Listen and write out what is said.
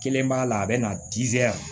Kelen b'a la a bɛ na